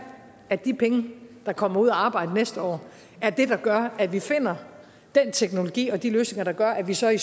at de penge der kommer ud at arbejde næste år er det der gør at vi finder den teknologi og de løsninger der gør at vi så i